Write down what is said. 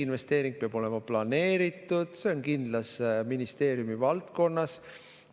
Investeering peab olema planeeritud, see on kindlas ministeeriumi valdkonnas.